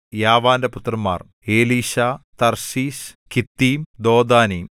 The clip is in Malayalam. യാവാന്റെ പുത്രന്മാർ എലീശാ തർശീശ് കിത്തീം ദോദാനീം